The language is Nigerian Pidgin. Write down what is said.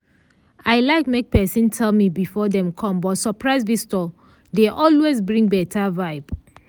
i like make pesin tell me before dem com but surprise visitor dey always bring beta vibe.